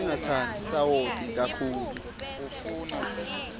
singatsandzi sawoti kakhulu